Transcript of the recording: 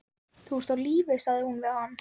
Þú ert á lífi sagði hún við hann.